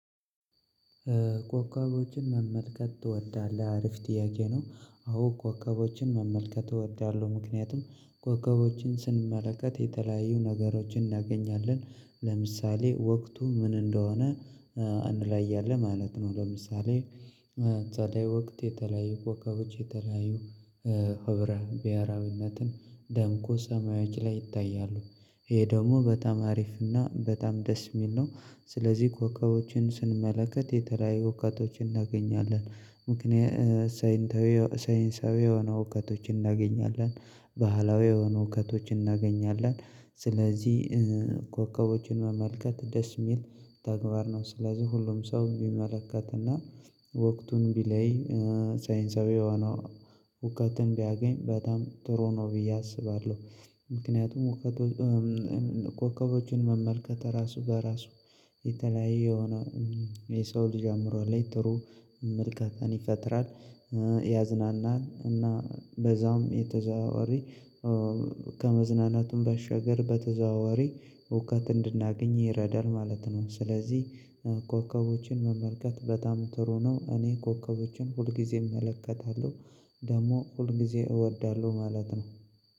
ኮከቦችን መመልከት ትወዳለህ? አርፍ ጥያቄ ነው አዎ ኮከቦችን መመልከት እወዳለሁ ምክንያቱም ኮከቦችን ስንመለከት የተለያዩ ነገሮችን እናገኛለን። ለምሳሌ ወቅቱ ምን እንደሆነ እንለያለን ማለት ነው ለምሳሌ ጸደይ ወቅት የተለያዩ ኮከቦች የተለያዩ ህብረ ብሄራዊነትን ደምቆ ሰማዮች ላይ ይታያሉ። ይሄ ደግሞ በጣም አሪፍ እና በጣም ደስ የሚል ነው ስለዚህ ኮከቦችን ስንመለከት የተለያዩ እውቀቶችን እናገኛለን። ምክንያቱም ሳይንሳዊ የሆኑ እውቀቶችን እናገኛለን ባህላዊ የሆኑ እውቀቶችን እናገኛለን ስለዚህ ኮከቦችን መመልከት ደስ የሚል ተግባር ነው ስለዚህ ሁሉም ሰው ቢመለከትና ወቅቱን ቢለይ ሳይንሳዊ የሆነ እውቀትን ቢያገኝ በጣም ጥሩ ነው ብዬ አስባለሁ ምክንያቱም እውቀቱ ኮከቦችን መመልከት ራሱ በራሱ የተለያዩ የሆነ የሰው ልጅ አኦምሮ ላይ ጥሩ ምልከታን ይፈጥራል፣ ያዝናናል እና በዛውም በተዘዋዋሪ ከመዝናናቱም ባሻገር በተዘዋዋሪ እውቀት እንድናገኝ ይረዳል ማለት ነው። ስለዚህ ኮከቦችን መመልከት በጣም ጥሩ ነው እኔ ኮከቦችን ሁልጊዜ እመለከታለሁ ደግሞ ሁልጊዜ እወዳለሁ ማለት ነው